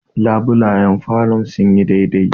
labulayen falon sun yi dai dai